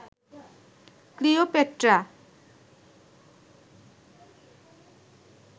Cleopatra